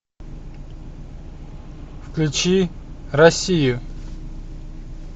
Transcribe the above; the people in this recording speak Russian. включи россию